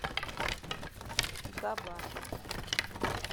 габар